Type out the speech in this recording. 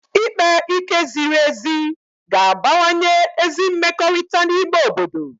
Ikpe ike ziri ezi ga-abawanye ezi mmekọrịta n'ime obodo